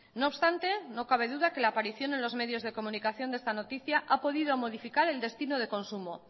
no obstante no cabe duda que la aparición en los medios de comunicación de esta noticia ha podido modificar el destino de consumo